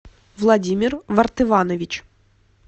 владимир вартыванович